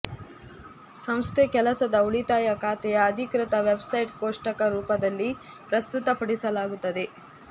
ಸಂಸ್ಥೆ ಕೆಲಸದ ಉಳಿತಾಯ ಖಾತೆಯ ಅಧಿಕೃತ ವೆಬ್ಸೈಟ್ ಕೋಷ್ಟಕ ರೂಪದಲ್ಲಿ ಪ್ರಸ್ತುತಪಡಿಸಲಾಗುತ್ತದೆ